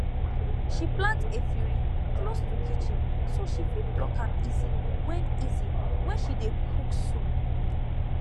she plant efirin close to kitchen so she fit pluck am easy when easy when she dey cook soup